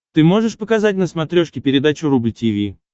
ты можешь показать на смотрешке передачу рубль ти ви